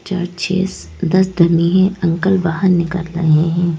Churches दस दिन में ये अंकल बाहर निकल रहे हैं।